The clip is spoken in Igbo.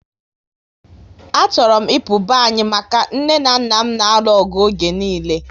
A chọrọ m ịpụ be anyị maka nne na nna m n'aru ọgụ oge niile